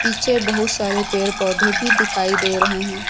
पीछे बहुत सारे पेड़ पौधे भी दिखाई दे रहे हैं।